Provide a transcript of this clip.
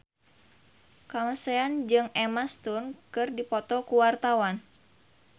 Kamasean jeung Emma Stone keur dipoto ku wartawan